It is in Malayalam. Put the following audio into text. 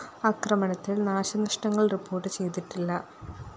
ആക്രമണത്തില്‍ നാശനഷ്ടങ്ങള്‍ റിപ്പോർട്ട്‌ ചെയ്തിട്ടില്ല